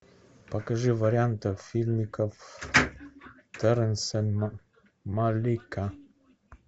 покажи варианты фильмиков торенса малика